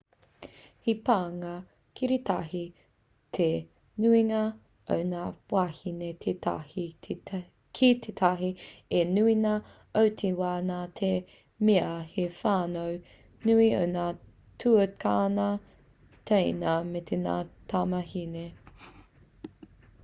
he pānga kiritahi te nuinga o ngā wāhine tētahi ki tētahi i te nuinga o te wā nā te mea he whānau nui o ngā tuakana/teina me ngā tamāhine